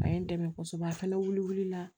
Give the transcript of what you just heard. A ye n dɛmɛ kosɛbɛ a fana wuli la